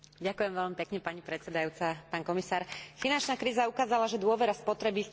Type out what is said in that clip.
Finančná kríza ukázala, že dôvera spotrebiteľov vo finančný systém sa môže rýchlo narušiť.